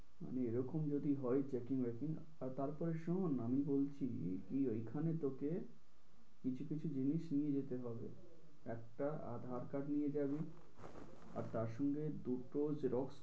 এরকম যদি হয় checking আর তারপরে শুনুন না আমি বলছি কি ওই খানে তোকে কিছু কিছু জিনিস নিয়ে যাতে হবে। একটা aadhaar card নিয়ে যাবি, আর তার সঙ্গে দুটো xerox